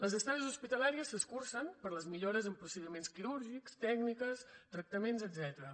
les estades hospitalàries s’escurcen per les millores en procediments quirúrgics tècniques tractaments etcètera